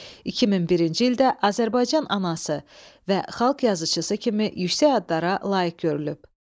2001-ci ildə Azərbaycan Anası və Xalq Yazıçısı kimi yüksək adlara layiq görülüb.